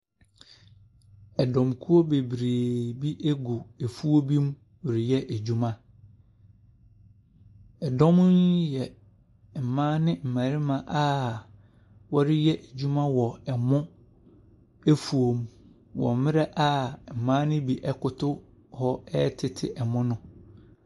Ɛdɔm kuo bebree gu afuo bi mu reyɛ adwuma, ɛdɔm yi yɛ mmaa ne mmarima a ɔreyɛ adwuma wɔ ɛmo afuo mu wɔ mmerɛ mmaa no bi ɛkoto hɔ ɛretete ɛmo no.